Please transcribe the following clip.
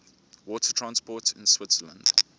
water transport in switzerland